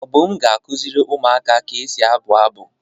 Obum ga-akuziri umuaka ka esi abu abu.